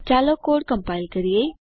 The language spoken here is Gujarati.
ચાલો કોડ કમ્પાઈલ કરીએ